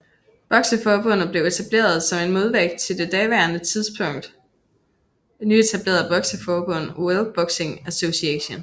Bokseforbundet blev etableret som en modvægt til det på daværende tidspunkt nyetablerede bokseforbund World Boxing Association